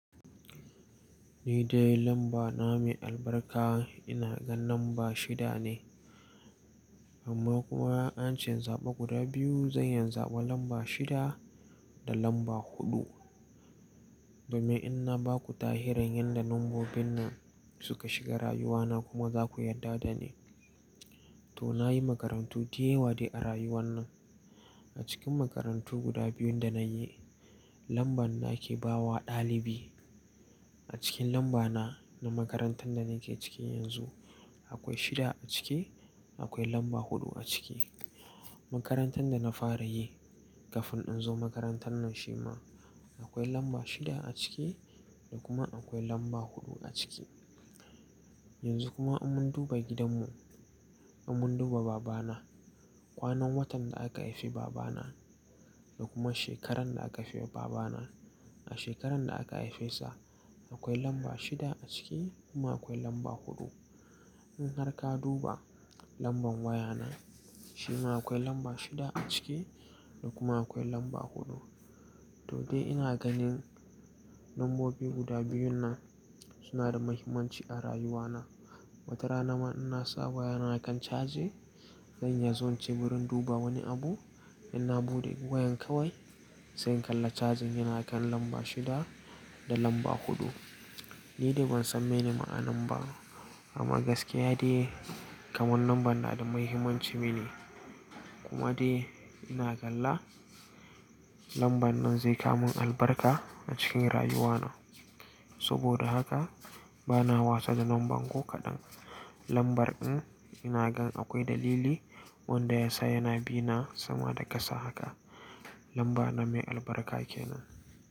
Ni dai lamba na mai albarka ina ganin lamba shida ne. Amma kuma an ce in zaɓa guda biyu zan iya zaɓan lamba shida da lamba huɗu. Domin in na ba ku tahiran yadda lambobin nan suka shiga rayuwa na kuma za ku yarda da ni. To na yi makarantu da yawa ne a rayuwa nan. A cikin makarantu guda biyun da na yi lamban na ke bawa ɗalibi. A cikin lamba na na makarantar da na ke ciki yanzu akwai shida a cike akwai lamba huɗu a cike. Makarantar da na fara yi kafin in zo makarantar nan shi ma akwai lamba shida a cike da kuma akwai lamba huɗu a cike. Yanzu kuma in mun duba gidanmu in mun duba babana kwanan watan da aka haife babana da kuma shekaran da aka haife babana a shekaran da aka haife sa akwai lamba shida a cike kuma akwai lamba huɗu. In har ka duba lamban waya na shi ma akwai lamba shida a cike da kuma akwai lamba huɗu. To dai ina ganin lambobi guda biyun nan suna da muhimmanci a rayuwa na. Watara na ma ina sa waya na a kan caje zan yazo in ci burin duba wani abu in na buɗe wayan kawai sai in kalla cajin yana kan lamba shida da lamba huɗu. Ni dai ban sani mene ma'anan ba amma gaskiya dai kaman lamban na da muhimmanci mini kuma dai ina kalla lamban nan zai kamun albarka a cikin rayuwa na. Saboda haka bana wasa da lamban ko kaɗan. Lambar ɗin ina gan akwai dalili wanda ya sa yana bina sama da kasa haka. Lamba na mai albarka kenan.